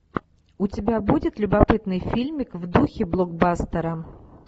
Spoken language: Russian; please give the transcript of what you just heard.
у тебя будет любопытный фильмик в духе блокбастера